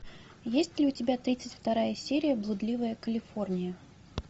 есть ли у тебя тридцать вторая серия блудливая калифорния